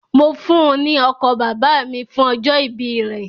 Mo fún un ní ọkọ̀ bàbà mi fún ọjọ́ ìbí rẹ̀.